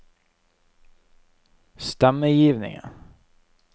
stemmegivningen